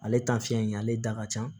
Ale in ye ale da ka ca